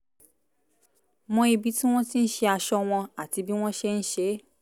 mọ ibi tí wọ́n ti ń ṣe aṣọ wọn àti bí wọ́n ṣe ń ṣe é